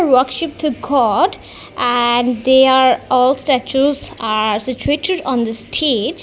worship the god and they are all statues are situated on the stage.